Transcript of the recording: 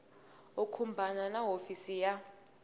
u khumbana na hofisi ya